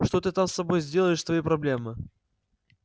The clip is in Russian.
что ты там с собой сделаешь твои проблемы